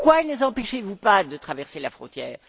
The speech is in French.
Pourquoi ne les empêchez vous pas de traverser la frontière?